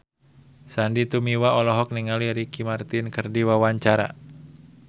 Sandy Tumiwa olohok ningali Ricky Martin keur diwawancara